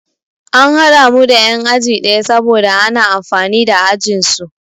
An haɗa mu da yan'aji ɗaya saboda ana amfani da ajinsu.